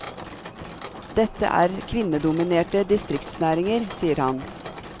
Dette er kvinnedominerte distriktsnæringer, sier han.